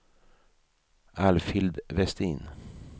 Alfhild Westin